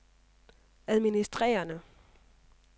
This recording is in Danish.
administrerende